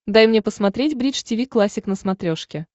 дай мне посмотреть бридж тиви классик на смотрешке